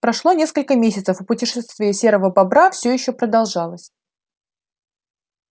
прошло несколько месяцев а путешествие серого бобра всё ещё продолжалось